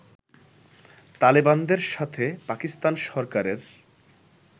তালেবানদের সাথে পাকিস্তান সরকারের